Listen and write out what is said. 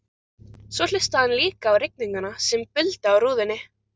Svo hlustaði hann líka á rigninguna sem buldi á rúðunni.